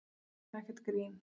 Þetta er ekkert grín